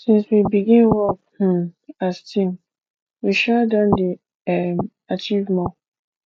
since we begin work um as team we um don dey um achieve more